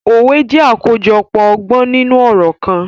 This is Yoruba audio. Òwè jẹ̀ akojọpọ ọgbọn ninu ọrọ kan.